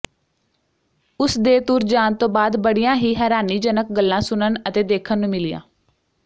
ਉਸ ਦੇ ਤੁਰ ਜਾਣ ਤੋਂ ਬਾਅਦ ਬੜੀਆਂ ਹੀ ਹੈਰਾਨੀਜਨਕ ਗੱਲਾਂ ਸੁਣਨ ਅਤੇ ਦੇਖਣ ਨੂੰ ਮਿਲੀਆਂ